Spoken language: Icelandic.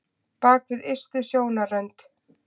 Bak við ystu sjónarrönd